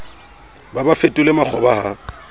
ba ba fetole makgoba ha